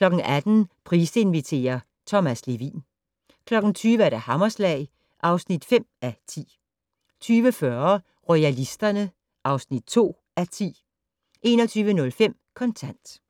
18:00: Price inviterer - Thomas Levin 20:00: Hammerslag (5:10) 20:40: Royalisterne (2:10) 21:05: Kontant